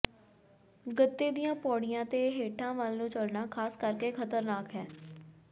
ਗੱਤੇ ਦੀਆਂ ਪੌੜੀਆਂ ਤੇ ਹੇਠਾਂ ਵੱਲ ਨੂੰ ਚੱਲਣਾ ਖਾਸ ਕਰਕੇ ਖਤਰਨਾਕ ਹੈ